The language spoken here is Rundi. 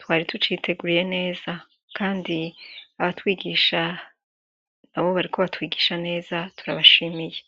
twari tuciteguriye neza, kandi abatwigisha na bo bariko batwigisha neza turabashimiiye.